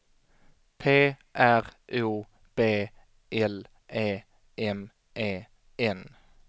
P R O B L E M E N